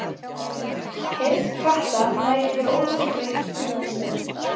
Heyrn katta nær yfir óvenju breitt tíðnisvið.